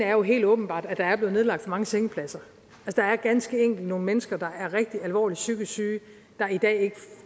er helt åbenbart at der er blevet nedlagt for mange sengepladser der er ganske enkelt nogle mennesker der er rigtig alvorligt psykisk syge